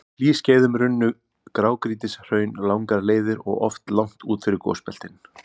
Á hlýskeiðum runnu grágrýtishraun langar leiðir og oft langt út fyrir gosbeltin.